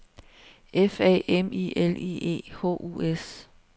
F A M I L I E H U S